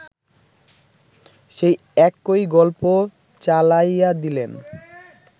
সেই একই গল্প চালাইয়াদিলেন